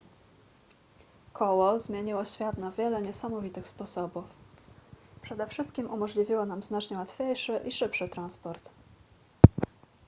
koło zmieniło świat na wiele niesamowitych sposobów przede wszystkim umożliwiło nam znacznie łatwiejszy i szybszy transport